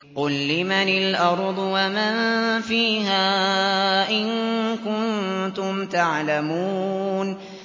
قُل لِّمَنِ الْأَرْضُ وَمَن فِيهَا إِن كُنتُمْ تَعْلَمُونَ